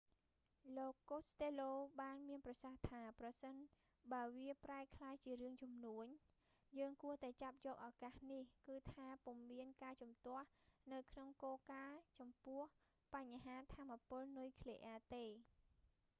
លោកកូស្តេឡូ costello បានមានប្រសាសន៍ថា ប្រសិនបើវាប្រែក្លាយជារឿងជំនួញ យើងគួរតែចាប់យកឱកាសនេះ គឺថា ពុំមានការជំទាស់នៅក្នុងគោលការណ៍ចំពោះបញ្ហាថាមពលនុយគ្លីអ៊ែរទេ